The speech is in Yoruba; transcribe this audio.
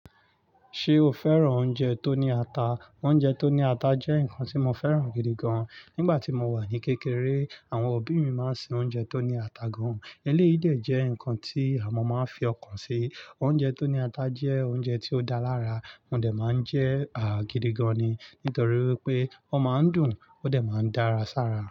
Ṣé o fẹ́ràn oúnjẹ tó ní ata? Oúnjẹ tó ní ata jẹ́ nǹkan tí mo fẹ́ràn gidi gan. Nígbà tí mo wà ní kékeré, àwọn òbí mi máa ń se oúnjẹ tó ní ata gan. Eleyìí dẹ jẹ́ nǹkan tí a mọ̀ máa ń fi ọkàn ṣe. Oúnjẹ tó ní ata jẹ́ oúnjẹ tí ó dáa lára. Mo dẹ̀ máa ń jẹ́ à gidi gan ni, nítorí pé ó máa ń dùn ó dẹ̀ máa ń dára sára.